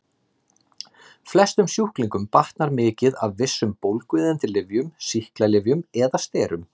Flestum sjúklingum batnar mikið af vissum bólgueyðandi lyfjum, sýklalyfjum eða sterum.